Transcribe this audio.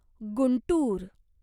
Guntur